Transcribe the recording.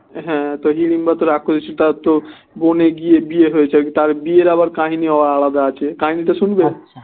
হম হিড়িম্বা তো রাক্ষসী সেটাও তো বনে গিয়ে বিয়ে হয়েছে তার বিয়ের আবার কাহিনীও আলাদা আছে কাহিনী তা শুনবে